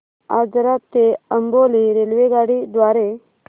आजरा ते अंबोली रेल्वेगाडी द्वारे